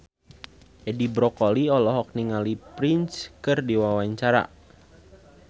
Edi Brokoli olohok ningali Prince keur diwawancara